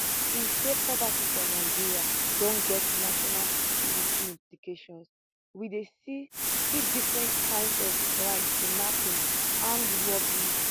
e say poverty for nigeria don get national security implications we dey see see different kinds of crime kidnapping armed robbery